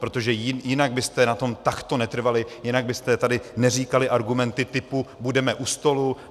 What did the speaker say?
Protože jinak byste na tom takto netrvali, jinak byste tady neříkali argumenty typu "budeme u stolu".